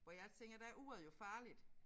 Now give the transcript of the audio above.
Hvor jeg tænker der uret jo farligt